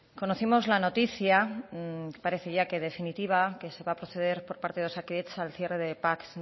conocimos la noticia parece ya que definitiva que se va a proceder por parte de osakidetza al cierre de pac